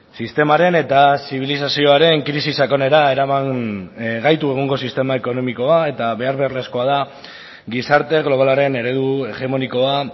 sistemaren eta zibilizazioaren krisi sakonera eraman gaitu egungo sistema ekonomikoa eta behar beharrezkoa da gizarte globalaren eredu hegemonikoa